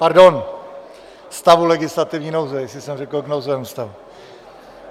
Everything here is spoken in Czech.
Pardon, stavu legislativní nouze, jestli jsem řekl k nouzovému stavu.